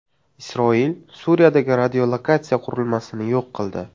Isroil Suriyadagi radiolokatsiya qurilmasini yo‘q qildi.